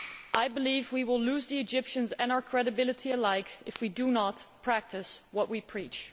I believe we will lose the Egyptians and our credibility alike if we do not practice what we preach.